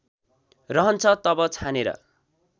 रहन्छ तब छानेर